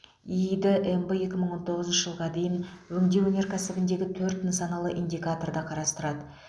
иид мб екі мың он тоғызыншы жылға дейін өңдеу өнеркәсібіндегі төрт нысаналы индикаторды қарастырады